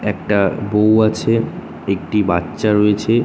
একটা বৌ আছে একটি বাচ্চা রয়েছে।